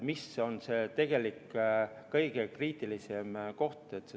See on kõige kriitilisem koht.